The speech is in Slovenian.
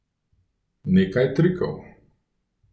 Nekaj trikov.